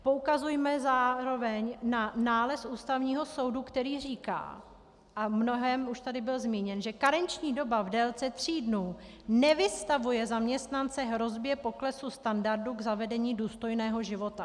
Poukazujme zároveň na nález Ústavního soudu, který říká, a v mnohém už tady byl zmíněn, že karenční doba v délce tří dnů nevystavuje zaměstnance hrozbě poklesu standardu k zavedení důstojného života.